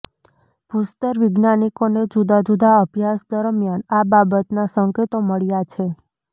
ભૂસ્તર વૈજ્ઞાનિકોને જુદા જુદા અભ્યાસ દરમિયાન આ બાબતના સંકેતો મળ્યા છે